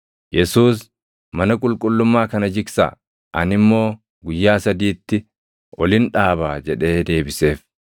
Yesuus, “Mana qulqullummaa kana jigsaa; ani immoo guyyaa sadiitti olin dhaabaa” jedhee deebiseef.